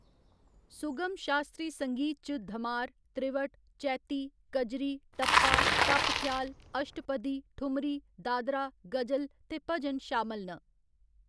सुगम शास्त्री संगीत च धमार, त्रिवट, चैती, कजरी, टप्पा, टप ख्याल, अश्टपदी, ठुमरी, दादरा, गजल ते भजन शामल न।